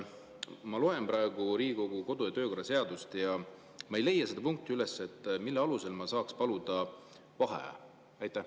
Ma loen praegu Riigikogu kodu- ja töökorra seadust ja ma ei leia üles seda punkti, mille alusel ma saaks paluda vaheaja.